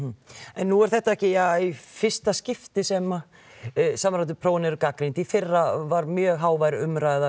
en nú er þetta ekki í fyrsta skipti sem samræmdu prófin eru gagnrýnd í fyrra var mjög hávær umræða